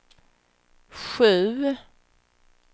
sju